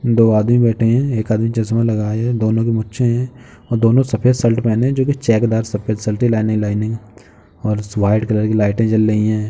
दो आदमी बैठे हैं। एक आदमी चश्मा लगाए है दोनों के मूंछें है और दोनों सफ़ेद शर्ट पहने हैं जो कि चेकदार सफेद शर्ट है लाइनिंग लाइनिंग और व्हाइट कलर की लाइटें जल रही हैं।